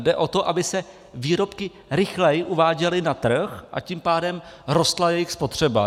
Jde o to, aby se výrobky rychleji uváděly na trh, a tím pádem rostla jejich spotřeba.